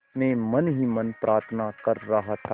मैं मन ही मन प्रार्थना कर रहा था